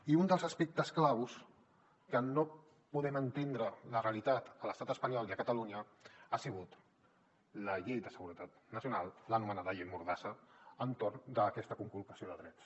i un dels aspectes claus que no podem entendre’n la realitat a l’estat espanyol i a catalunya ha sigut la llei de seguretat nacional l’anomenada llei mordassa entorn d’aquesta conculcació de drets